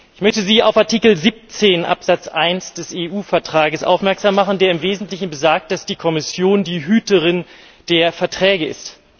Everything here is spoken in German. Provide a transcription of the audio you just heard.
Ich möchte Sie auf Artikel 17 Absatz 1 des EU Vertrages aufmerksam machen, der im Wesentlichen besagt, dass die Kommission die Hüterin der Verträge ist.